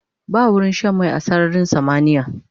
Ba wurin Shan mai a sararin samaniya